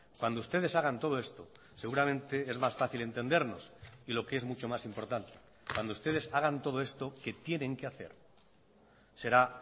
cuando ustedes hagan todo esto seguramente es más fácil entendernos y lo que es mucho más importante cuando ustedes hagan todo esto que tienen que hacer será